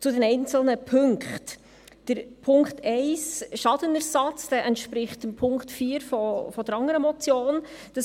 Zu den einzelnen Punkten: Punkt 1, Schadenersatz, entspricht Punkt 4 der anderen Motion .